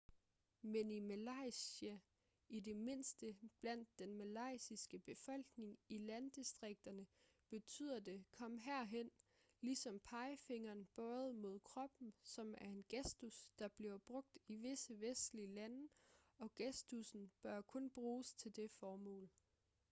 men i malaysia i det mindste blandt den malaysiske befolkning i landdistrikterne betyder det kom herhen ligesom pegefingeren bøjet mod kroppen som er en gestus der bliver brugt i visse vestlige lande og gestussen bør kun bruges til det formål